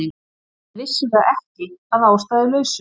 Það er vissulega ekki að ástæðulausu